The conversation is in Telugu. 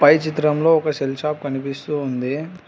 పై చిత్రంలో ఒక సెల్ షాప్ కనిపిస్తూ ఉంది.